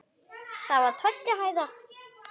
Það var tveggja hæða.